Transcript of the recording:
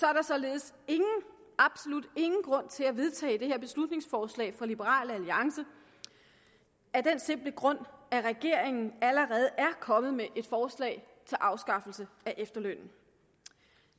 er der således ingen absolut ingen grund til at vedtage det her beslutningsforslag fra liberal alliance af den simple grund at regeringen allerede er kommet med et forslag til afskaffelse af efterlønnen